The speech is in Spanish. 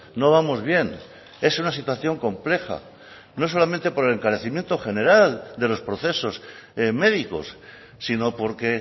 no vamos bien es una situación compleja no solamente por el encarecimiento general de los procesos médicos sino porque